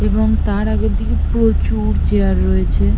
এবং তার আগের দিকে প্রচুর চেয়ার রয়েছে।